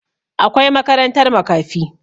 Akwai makarantar makafi